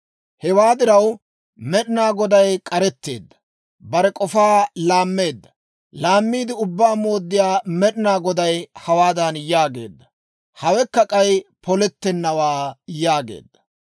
Hewaa diraw, Med'inaa Goday k'aretteedda, bare k'ofaa laammeedda; laammiide Ubbaa Mooddiyaa Med'inaa Goday hawaadan yaageedda; «Hawekka k'ay polettennawaa» yaageedda.